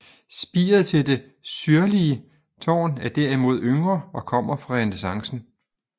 Spiret til det syrlige tårn er derimod yngre og kommer fra renæssancen